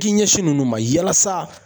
K'i ɲɛsin ninnu ma yalasa